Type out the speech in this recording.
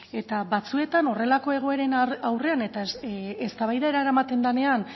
eta batzuetan horrelako egoeren aurrean eta eztabaidara eramaten denean